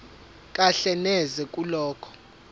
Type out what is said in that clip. kahle neze kulokho